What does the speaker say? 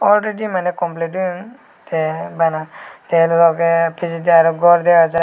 awredi maneh complid oyon tey bana tey logey pijedi aro gor dega jai.